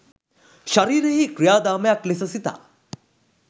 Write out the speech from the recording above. ශරීරයෙහි ක්‍රියාදාමයක් ලෙස සිතා